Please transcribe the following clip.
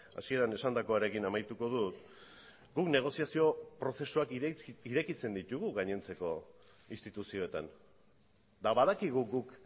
hasieran esandakoarekin amaituko dut guk negoziazio prozesuak irekitzen ditugu gainontzeko instituzioetan eta badakigu guk